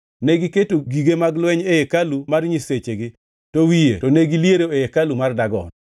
Negiketo gige mag lweny e hekalu mar nyisechegi, to wiye, to negiliero e hekalu mar Dagon.